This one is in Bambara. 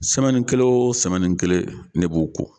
kelen o kelen ne b'o ko.